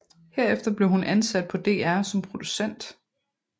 Herefter blev hun ansat på DR som producent